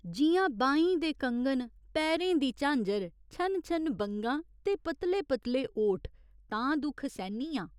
जि'यां बाहीं दे कङन, पैरें दी झांजर, छन छन बंगां ते पतले पतले ओठ तां दुख सैह्‌न्नी आं।